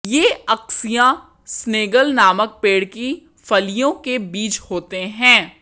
यह acacia Senegal नामक पेड़ की फलियों के बीज होते हैं